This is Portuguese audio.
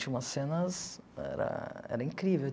Tinha umas cenas... Era era incrível.